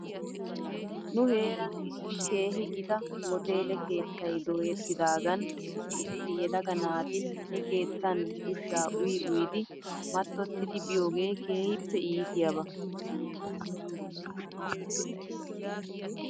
Nu heeran issi keehi gita hoteele keettay dooyettidaagan issi issi yelaga naati he keettan ushshaa uyi uyidi mattottidi biyoogee keehippe iitiyaaba.